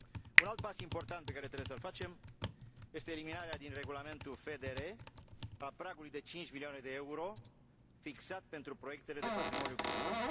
Un alt pas important pe care trebuie să îl facem este eliminarea din Regulamentul FDR a pragului de cinci milioane de euro fixat pentru proiectele de patrimoniu cultural.